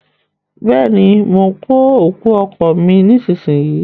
Bẹ́ẹ̀ ni, mò ń nu òkú ọkọ̀ mi nísinsìnyí